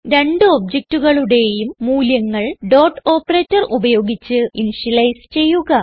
രണ്ട് objectകളുടേയും മൂല്യങ്ങൾ ഡോട്ട് ഓപ്പറേറ്റർ ഉപയോഗിച്ച് ഇനിഷ്യലൈസ് ചെയ്യുക